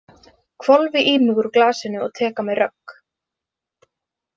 Hvolfi í mig úr glasinu og tek á mig rögg.